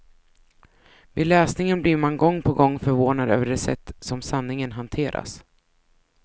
Vid läsningen blir man gång på gång förvånad över det sätt som sanningen hanteras.